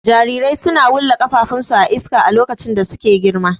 Jarirai suna wulla ƙafafun su a iska a lokacin da suke girma.